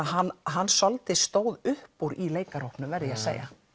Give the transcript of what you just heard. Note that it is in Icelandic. hann hann svolítið stóð upp úr í verð ég að segja